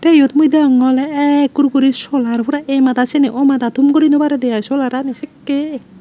iyot mui deyongey oley ekkur guri solar pora ei mada seney oi mada thum guri naw paredey ai solarani sekkey ek.